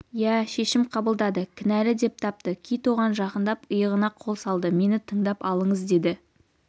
иә шешім қабылдады кінәлі деп тапты кит оған жақындап иығына қол салды мені тыңдап алыңыз деді